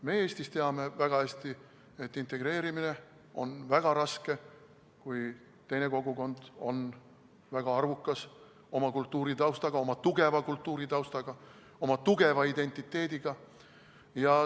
Me Eestis teame väga hästi, et integreerimine on väga raske, kui teine kogukond on väga arvukas, oma tugeva kultuuritaustaga, oma tugeva identiteediga.